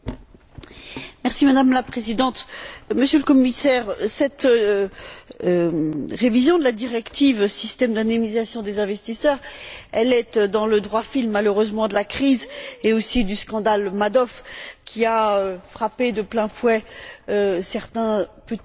Madame la Présidente, Monsieur le Commissaire, cette révision de la directive relative aux systèmes d'indemnisation des investisseurs est dans le droit fil, malheureusement, de la crise et aussi du scandale Madoff qui a frappé de plein fouet certains petits investisseurs